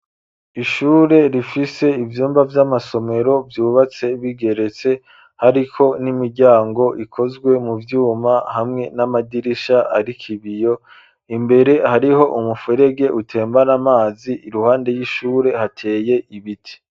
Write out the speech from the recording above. ishure rifise ivyumba vy'amasomero , vyubatse bigeretse , hariko n'imiryango ikozwe mu vyuma ,hamwe n'amadirisha arik 'ibiyo , imbere hariho umufurege utembana amazi , iruhande y'ishure hateye ibiti.